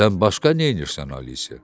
Sən başqa nəyirsən Alisa?